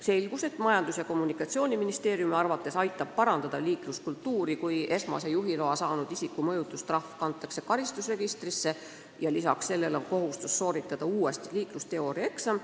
Selgus, et Majandus- ja Kommunikatsiooniministeeriumi arvates peaks liikluskultuur paranema, kui esmase juhiloa saanud isiku mõjutustrahv kantakse karistusregistrisse ja lisaks sellele tuleb uuesti teha liiklusteooriaeksam.